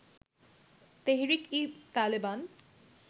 Tehrik i Taliban